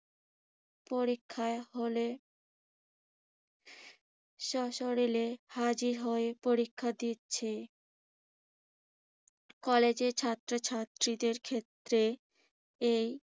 পরীক্ষার হলে স্বশরীরে হাজির হয়ে পরীক্ষা দিচ্ছে কলেজের ছাত্রছাত্রীদের ক্ষেত্রে এই